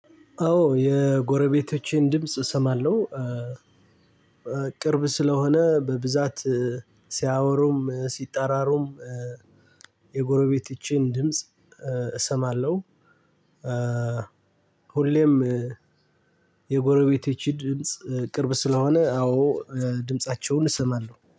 አዎ የጎረቤቶቼን ድምጽ እሰማለሁ። ቅርብ ስለሆነ በብዛት ሲያወሩም ሲጠራሩም። የጎረቤቶቼን ድምጽ እሰማለሁ። ሁሌም የጎረቤቶቼ ድምጽ ቅርብ ስለሆነ አዎ። ድምፃቸውን እሰማለሁ